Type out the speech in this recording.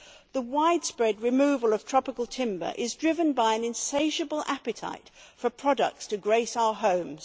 The widespread removal of tropical timber is driven by an insatiable appetite for products to grace our homes.